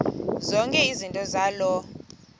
zonke izinto zaloo